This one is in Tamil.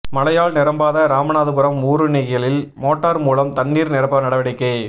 மழையால் நிரம்பாத ராமநாதபுரம் ஊருணிகளில் மோட்டாா் மூலம் தண்ணீா் நிரப்ப நடவடிக்கை